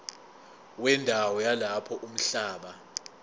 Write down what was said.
wendawo yalapho umhlaba